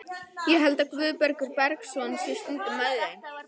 Ég held að Guðbergur Bergsson sé stundum með þeim.